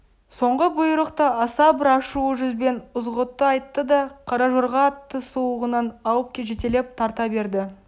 соңғы бұйрықты аса бір ашулы жүзбен ызғұтты айтты да қара жорға атты сулығынан алып жетелеп тарта берді